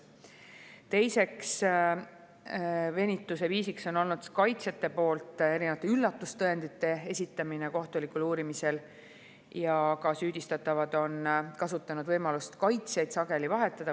Teine venitusviis on olnud kaitsjate poolt erinevate üllatustõendite esitamine kohtulikul uurimisel, samuti on süüdistatavad kasutanud võimalust kaitsjaid sageli vahetada.